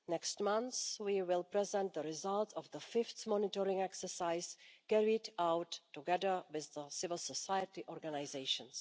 Next month we will present the results of the fifth monitoring exercise carried out together with civil society organisations.